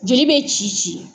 Joli bɛ ci ci.